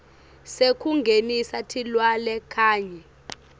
sekungenisa tilwane kanye